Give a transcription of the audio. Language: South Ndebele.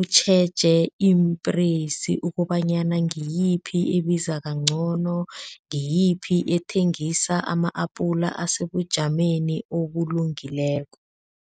utjheje iimpreysi ukobanyana ngiyiphi ebiza kangcono, ngiyiphi ethengisa ama-apula asebujameni obulungileko.